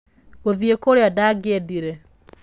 Gũthiĩ Kũrĩa Ndangĩendire